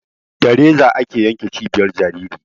Za reza ake yanke cibiyar jajiri